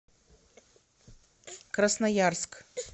красноярск